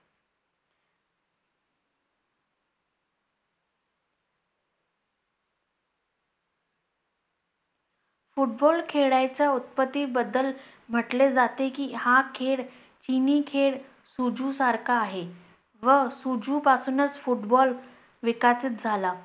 football खेळlयच्या उत्पत्ती बद्दल म्हटले जाते की, हा खेळ चिनी खेळ सुझु सारखा आहे, व सुझु पासूनच football विकसित झाला.